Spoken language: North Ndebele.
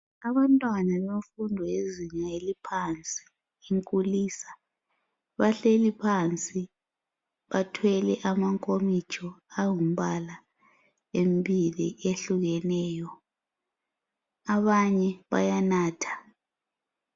abantwana befundo lezinga eliphansi inkulisa bahleliphansi bathwele amankomitsho angumpala embili ehlukeneyo abanye bayanatha